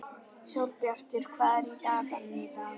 Sólbjartur, hvað er í dagatalinu í dag?